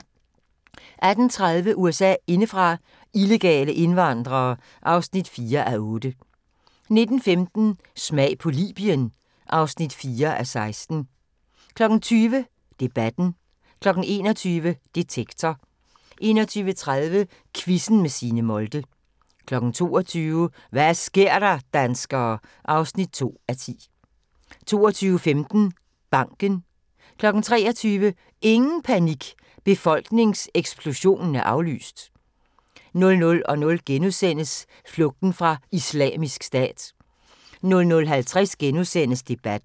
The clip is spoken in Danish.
18:30: USA indefra: Illegale indvandrere (4:8) 19:15: Smag på Libyen (4:16) 20:00: Debatten 21:00: Detektor 21:30: Quizzen med Signe Molde 22:00: Hva' sker der, danskere? (2:10) 22:15: Banken 23:00: Ingen panik – befolkningseksplosionen er aflyst! 00:00: Flugten fra Islamisk Stat * 00:50: Debatten *